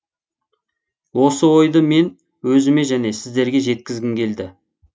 осы ойды мен өзіме және сіздерге жеткізгім келді